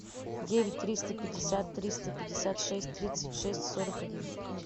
девять триста пятьдесят триста пятьдесят шесть тридцать шесть сорок один